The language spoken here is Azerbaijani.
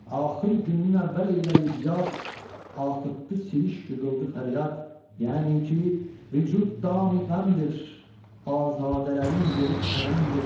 Axır günün əvvəl eləyib yad, axıtdı sirişqü qıldı fəryad, yəni ki, vücud dami qəmdir, azadələrin yeri ədəmdir.